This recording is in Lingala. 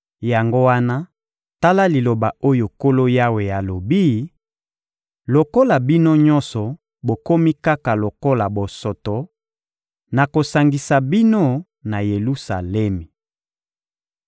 Yango wana, tala liloba oyo Nkolo Yawe alobi: ‹Lokola bino nyonso bokomi kaka lokola bosoto, nakosangisa bino na Yelusalemi.